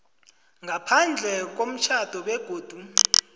ngaphandle komtjhado begodu